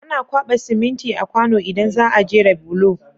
Ana kwaba siminti a kwano idan zaa jera bulo